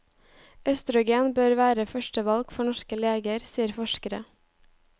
Østrogen bør være førstevalg for norske leger, sier forskere.